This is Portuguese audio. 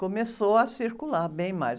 Começou a circular bem mais.